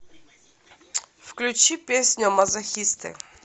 включи песня мазохисты